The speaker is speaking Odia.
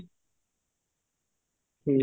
ହୁଁ